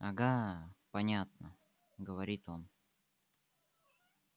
ага понятно говорит он